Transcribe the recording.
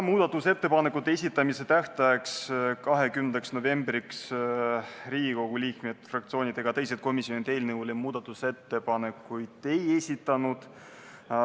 Muudatusettepanekute esitamise tähtajaks, 20. novembriks Riigikogu liikmed, fraktsioonid ega teised komisjonid eelnõu kohta muudatusettepanekuid ei esitanud.